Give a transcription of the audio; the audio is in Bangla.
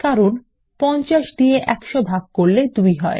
কারণ 50 দিয়ে 100 ভাগ করলে ফল 2 হয়